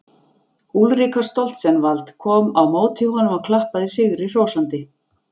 Úlrika Stoltzenwald kom á móti honum og klappaði sigri hrósandi.